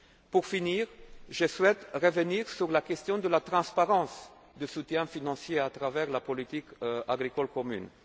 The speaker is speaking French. Pour finir, je souhaite revenir sur la question de la transparence du soutien financier apporté à travers la politique agricole